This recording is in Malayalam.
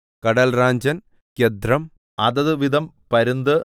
കടൽറാഞ്ചൻ ഗൃദ്ധ്രം അതത് വിധം പരുന്ത്